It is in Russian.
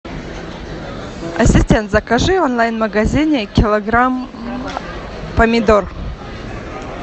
ассистент закажи в онлайн магазине килограмм помидор